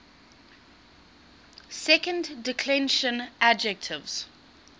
second declension adjectives